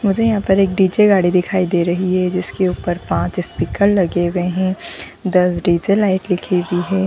मुझे यहाँ पर एक डी.जे. गाड़ी दिखाई दे रही है जिसके ऊपर पांच स्पीकर लगे हुए हैं दस डी.जे. लाइट दिखे दी है।